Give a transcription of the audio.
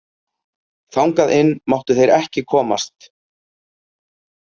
Þangað inn máttu þeir ekki komast.